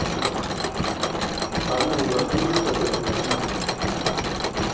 Þannig var búskapurinn hjá mér.